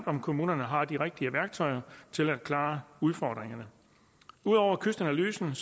om kommunerne har de rigtige værktøjer til at klare udfordringerne ud over kystanalysen